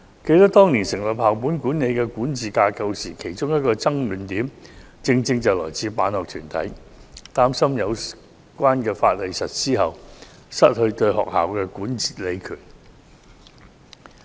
記得當年討論建立校本管理管治架構時，辦學團體提出的一個爭論點是，擔心有關法例實施後會失去對學校的管理權。